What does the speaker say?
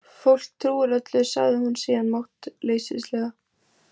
Fólk trúir öllu, sagði hún síðan máttleysislega.